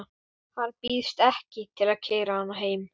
Hann býðst ekki til að keyra hana heim.